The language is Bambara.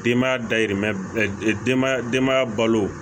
Denbaya dayirimɛ denya denbaya balo